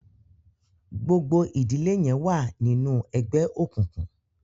gbogbo ìdílé yén wá ni nù ègbé òkùnkùn